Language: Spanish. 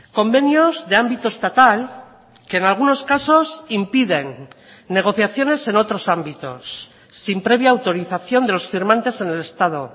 convenios de ámbito estatal que en algunos casos impiden negociaciones en otros ámbitos sin previa autorización de los firmantes en el estado